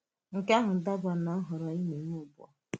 Nke ahụ dabèrè na nhọrọ ị na-èmè ugbu a.